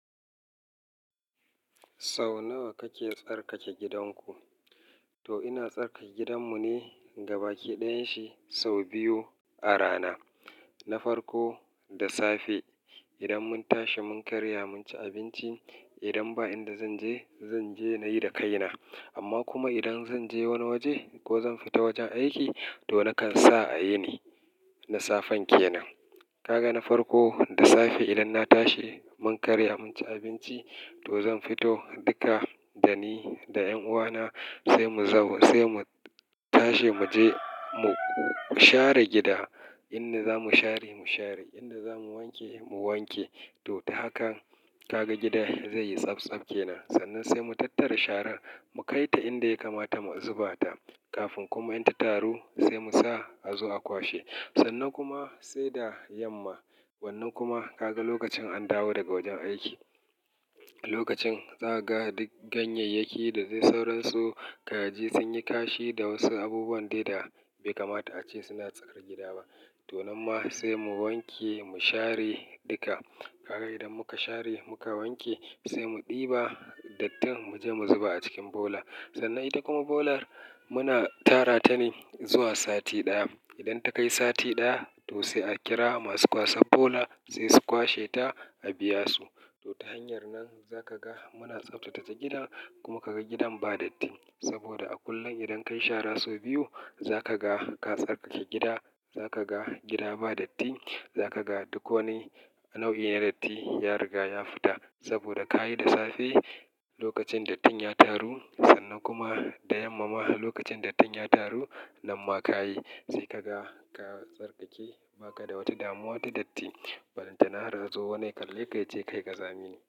Sau nawa kake tsarkake gidanku? To ina tsarkake gidanmu ne gabaki ɗayan shi sau biyu a rana, na farko da safe idan mun tashi mun karya mun ci abinci. Idan ba inda zanje, zanje nayi da kaina. Amma kuma idan zanje wani waje ko zan fita wajen aiki to nakan sa a yine na safen kenan. Kaga na farko da safe idan na tashi mun karya mun ci abinci to zan fito duka da ni da ƴan'uwana sai mu za-- sai mu tashi muje mu share gida. Inda zamu share mu share, inda zamu wanke mu wanke. To ta hakan kaga gidan zai yi tsaptsap kenan. Sannan sai mu tattara sharar mu kai ta inda ya kamata mu zuba ta. Kafin kuma in ta taru sai Musa a zo a kwashe. Sannan kuma sai da yamma. Wannan kuma kaga lokacin an dawo daga wajen aiki, lokacin za ka ga duk ganyayyaki da zai sauransu, kaji sun yi kashi da wasu abubuwan dai da bai kamata a ce suna tsakar gida ba. To nan ma sai mu wanke mu share duka. Kaga idan muka share muka wanke sai mu ɗiba dattin mu je mu zuba a cikin bola. Sannan ita kuma bolar muna tara ta ne zuwa sati ɗaya. Idan ta kai sati ɗaya to sai a kira masu kwasan bola sai su kwashe ta a biya su. To ta hanyar nan za ka ga muna tsaftace gidan kuma kaga gidan ba datti. Saboda a kullum idan kayi shara sau biyu za ka ga ka tsarkake gida, za ka ga gida ba datti, za ka ga duk wani nau'i na datti ya riga ya fita. Saboda ka yi da safe lokacin dattin ya taru sannan kuma da yamma ma lokacin dattin ya taru nan ma ka yi. Sai ka ga ka tsarkake ba ka da wata damuwa ta datti. Barin ta nahar azo wani ya kalle ka yace ka yi ƙa zamine.